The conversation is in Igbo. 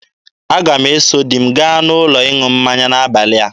Aga m eso di m gaa n'ụlọ ịṅụ mmanya n'abalị a.